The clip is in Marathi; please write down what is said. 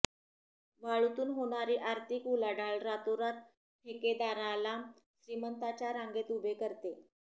वाळूतून होणारी आर्थिक उलाढाल रातोरात ठेकेदाराला श्रीमंतांच्या रांगेत उभे करते